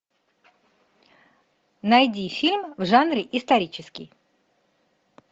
найди фильм в жанре исторический